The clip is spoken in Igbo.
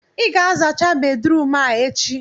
ị ga-azacha bedrum a echi!